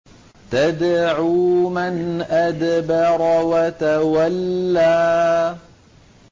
تَدْعُو مَنْ أَدْبَرَ وَتَوَلَّىٰ